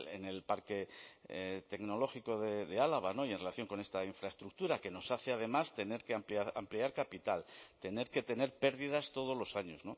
en el parque tecnológico de álava y en relación con esta infraestructura que nos hace además tener que ampliar capital tener que tener pérdidas todos los años